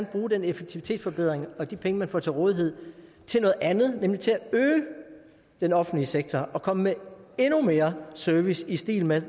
bruge den effektivitetsforbedring og de penge man så får til rådighed til noget andet nemlig til at øge den offentlige sektor og komme med endnu mere service i stil med